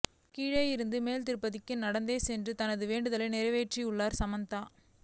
கீழே இருந்து மேல் திருப்பதிக்கு நடந்தே சென்ற தனது வேண்டுதலை நிறைவேற்றியுள்ளார் சமந்தா